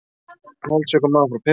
Holdsveikur maður frá Perú.